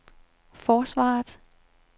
forsvaret